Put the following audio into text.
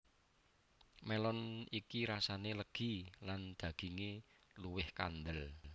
Melon iki rasane legi lan daginge luwih kandel